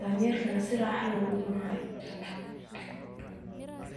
danyeerka si raaxa leh ayuu ucuni haaya.